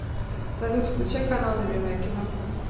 салют включай канал любимое кино